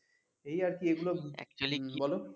এই আরকি এগুলো হম বলো